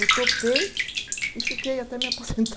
Eu topei e fiquei até me aposentar.